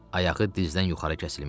Ayağı dizdən yuxarı kəsilmişdi.